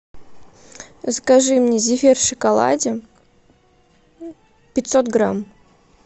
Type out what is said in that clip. закажи мне зефир в шоколаде пятьсот грамм